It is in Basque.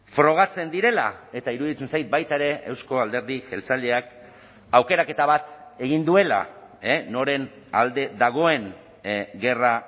frogatzen direla eta iruditzen zait baita ere euzko alderdi jeltzaleak aukeraketa bat egin duela noren alde dagoen gerra